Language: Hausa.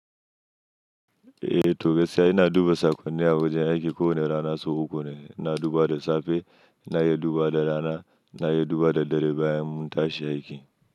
Eh to gaskiya ina duba sakonni a wajen aiki kowane rana sau uku ne. Ina dubawa da safe, ina iya dubawa da rana, ina yi dubawa da dare bayan mun tashi aiki.